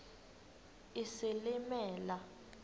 isilimela